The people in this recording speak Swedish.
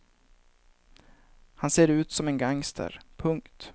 Han ser ut som en gangster. punkt